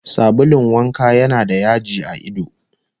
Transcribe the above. Sabulun wanka yana da yaji a ido